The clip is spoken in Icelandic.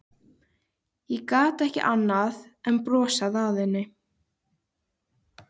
Ég gat ekki annað en brosað að henni.